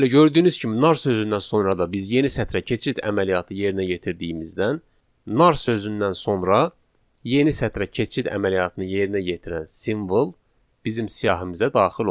Bəli, gördüyünüz kimi nar sözündən sonra da biz yeni sətrə keçid əməliyyatı yerinə yetirdiyimizdən, nar sözündən sonra yeni sətrə keçid əməliyyatını yerinə yetirən simvol bizim siyahımıza daxil oldu.